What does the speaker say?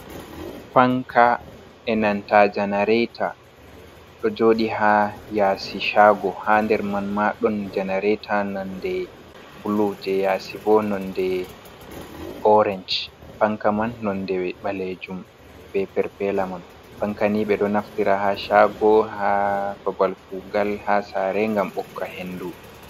Fanka e nanta janaraita. Ɗo jooɗi ha yasi shago. Ha nder man ma ɗon janaraita nonde bulu. Je yasibo nonde orance. Panka man nonɗe balejum, be perpela man. Fanka ni be ɗo naftira ha shago ha babalkugal, ha sare ngam bokka hendu.